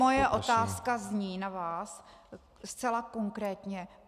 Moje otázka zní na vás zcela konkrétně.